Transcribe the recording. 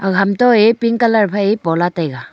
ag ham to ye pink colour pola taiga.